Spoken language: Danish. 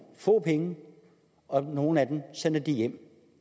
få penge og nogle af dem sender de hjem